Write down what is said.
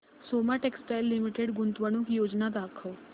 Soma textile limited गुंतवणूक योजना दाखव